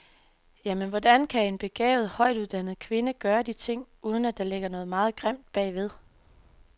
Jamen, hvordan kan en begavet, højt uddannet kvinde gøre de ting, uden at der ligger noget meget grimt bagved.